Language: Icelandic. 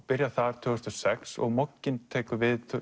byrjar þar tvö þúsund og sex og Mogginn tekur við